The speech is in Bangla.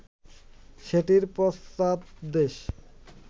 সেটির পশ্চাৎদেশ